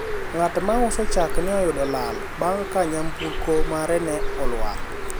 ng'at mauso chak ne oyudo lal bang' ka nyamburko mare ne olwar